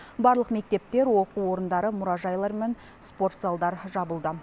барлық мектептер оқу орындары мұражайлар мен спорт залдар жабылды